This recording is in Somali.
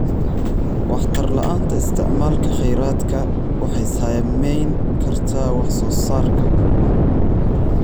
Waxtar la'aanta isticmaalka kheyraadka waxay saameyn kartaa wax soo saarka.